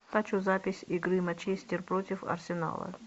хочу запись игры манчестер против арсенала